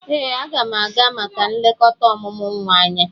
Ee, a ga m aga maka nlekota omumu nwa anya.